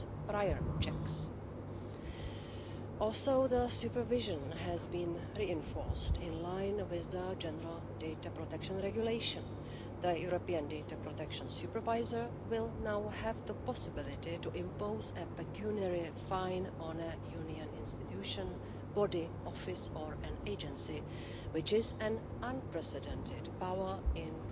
In this context, we agree that an independent supervisory body should be set up to ensure the protection of fundamental right to data protection in the EU institutions too. I find it regrettable, however, that EU agencies are not fully covered by this new regulation.